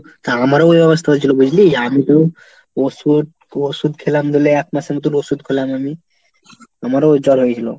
তা আমারও ওই অবস্থা হয়েছিল বুঝলি? আমি তো ওষুধ, ওষুধ খেলাম ধরলে এক মাসের মতো ওষুধ খেলাম আমি। আমারও জ্বর হয়েছিল।